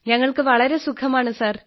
ഞങ്ങൾക്ക് വളരെ സുഖമാണ് സാർ